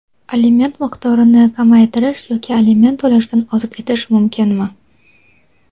Aliment miqdorini kamaytirish yoki aliment to‘lashdan ozod etish mumkinmi?.